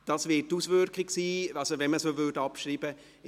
Das wird die Auswirkung sein, wenn man sie abschreiben würde.